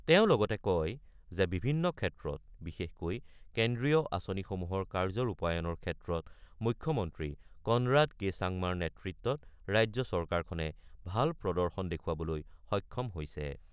তেওঁ লগতে কয় যে, বিভিন্ন ক্ষেত্ৰত বিশেষকৈ কেন্দ্ৰীয় আঁচনিসমূহৰ কাৰ্য ৰূপায়ণৰ ক্ষেত্ৰত মুখ্যমন্ত্ৰী কনৰাড কে চাংমাৰ নেতৃত্বত ৰাজ্য চৰকাৰখনে ভাল প্ৰদৰ্শন দেখুৱাবলৈ সক্ষম হৈছে।